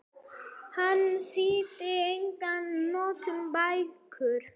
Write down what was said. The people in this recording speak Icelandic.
Hann þýddi einnig nokkrar bækur.